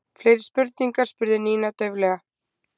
Fleiri spurningar? spurði Nína dauflega.